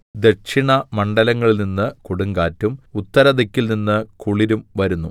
ദക്ഷിണമണ്ഡലത്തിൽനിന്ന് കൊടുങ്കാറ്റും ഉത്തരദിക്കിൽനിന്ന് കുളിരും വരുന്നു